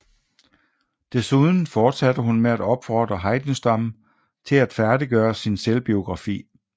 Desuden fortsatte hun med at opfordre Heidenstam til at færdiggøre sin selvbiografi